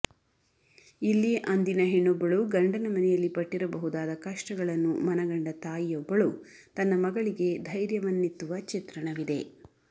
ಇಲ್ಲಿ ಅಂದಿನ ಹೆಣ್ಣೊಬ್ಬಳು ಗಂಡನ ಮನೆಯಲ್ಲಿ ಪಟ್ಟಿರಬಹುದಾದ ಕಷ್ಟಗಳನ್ನು ಮನಗಂಡ ತಾಯಿಯೊಬ್ಬಳು ತನ್ನ ಮಗಳಿಗೆ ಧೈರ್ಯವನ್ನಿತ್ತುವ ಚಿತ್ರಣವಿದೆ